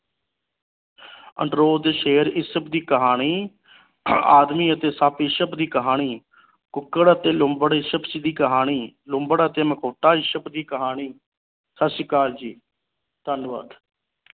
ਤੇ ਸ਼ੇਰ ਇਸਬ ਦੀ ਕਹਾਣੀ ਆਦਮੀ ਅਤੇ ਸੱਪ ਇਸਬ ਦੀ ਕਹਾਣੀ ਕੁੱਕੜ ਤੇ ਲੂੰਬੜ ਇਸਬ ਦੀ ਕਹਾਣੀ ਲੂੰਬੜ ਤੇ ਮਖੌਟਾ ਇਸਬ ਦੀ ਕਹਾਣੀ ਸਤਿ ਸ਼੍ਰੀ ਅਕਾਲ ਜੀ ਧੰਨਵਾਦ।